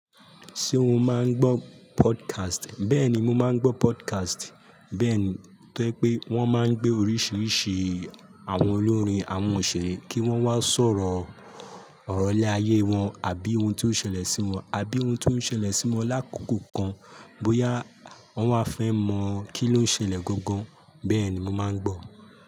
Ṣé o máa ń gbọ́ podcast? Bẹ́ẹ̀ni, mo máa ń gbọ́ podcast. Bẹ́ẹ̀ ni, tó jẹ́ pé wọ́n máa ń gbé oríṣiríṣi àwọn olórin, àwọn òṣèré kí wọ́n wá sọ̀rọ̀ ọ̀rọ̀ lè ayé wọn àbí ohun tó ń ṣẹlẹ̀ sí wọn, àbí ohun tó ń ṣẹlẹ̀ sí wọn lákòókò kan bóyá wọ́n wá fẹ́ mọ̀ kí ló ń ṣẹlẹ̀ gangan. Bẹ́ẹ̀ ni mo máa ń gbọ̀.